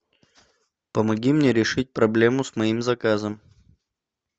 помоги мне решить проблему с моим заказом